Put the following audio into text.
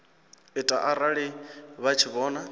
ita arali vha tshi vhona